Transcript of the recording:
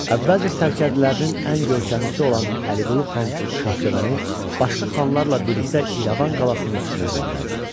Əvvəlcə sərkərdələrinin ən görkəmlisi olan Əliqulu xan Şahsevəni başqa xanlarla birlikdə İrəvan qalasının üstünə göndərdi.